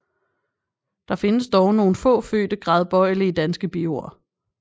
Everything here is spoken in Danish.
Der findes dog nogle få fødte gradbøjelige danske biord